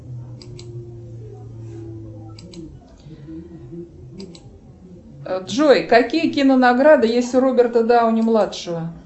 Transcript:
джой какие кино награды есть у роберта дауни младшего